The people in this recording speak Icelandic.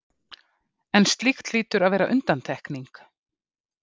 en slíkt hlýtur að vera undantekning.